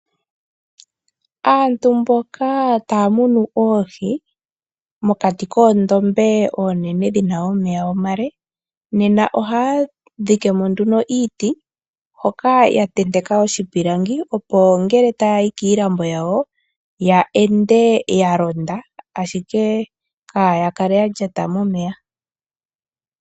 Antu mboka taya munu oohi mokati koondombe oonene dhina omeya omale, nena ohaya dhikemo nduno iiti hoka yatenteka iipilangi opo ngele ta yayi kiilambo yawo ya ende yalonda ashike kaayakale yalyata momeya.